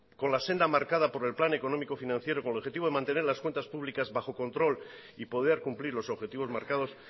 con la senda marcada por el plan económico financiero con el objetivo de mantener las cuentas públicas bajo control y poder cumplir los objetivos marcados